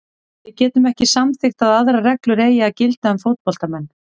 Við getum ekki samþykkt að aðrar reglur eigi að gilda um fótboltamenn.